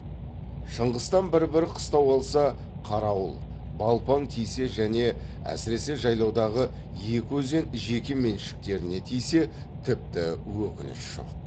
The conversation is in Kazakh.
шыңғыстан бір бір қыстау алса қарауыл балпаң тисе және әсіресе жайлаудағы екі өзен жеке меншіктеріне тисе тіпті өкініш жоқ